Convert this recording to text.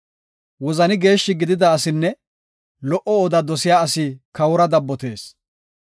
Wozani geeshshi gidida asinne lo77o oda dosiya asi kawora dabbotees.